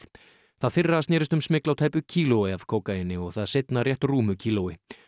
það fyrra snerist um smygl á tæpu kílói af kókaíni og það seinna rétt rúmu kílói